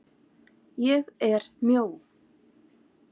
ÉG ER MJÓ.